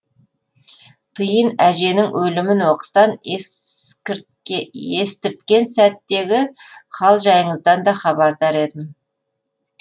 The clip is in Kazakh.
тиын әженің өлімін оқыстан естірткен сәттегі хал жайыңыздан да хабардар едім